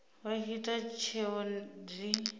vha tshi ita tsheo dzi